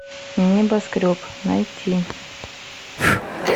небоскреб найти